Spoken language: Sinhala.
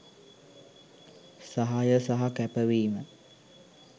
සහාය සහ කැපවීම